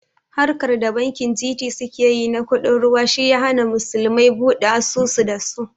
Harkar da bankin G.T suke yi na kuɗin ruwa shi ya hana musulmai buɗe asusu da su